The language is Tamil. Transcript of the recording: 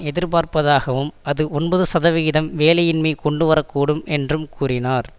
எதிர்பார்ப்பதாகவும் அது ஒன்பது சதவிகிதம் வேலையின்மையை கொண்டு வரக்கூடும் என்றும் கூறினார்